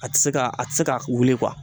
A tɛ se ka a tɛ se ka wuli